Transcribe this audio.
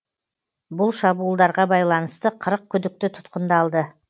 бұл шабуылдарға байланысты қырық күдікті тұтқындалды